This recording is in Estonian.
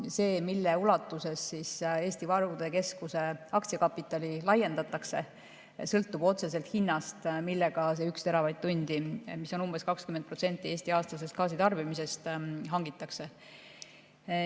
See, millises ulatuses Eesti Varude Keskuse aktsiakapitali laiendatakse, sõltub otseselt hinnast, millega see 1 teravatt-tundi, mis on umbes 20% Eesti aastasest gaasitarbimisest, hangitakse.